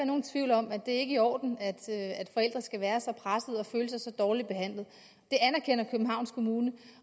nogen tvivl om at det ikke er i orden at forældre skal være så pressede og føle sig så dårligt behandlet det anerkender københavns kommune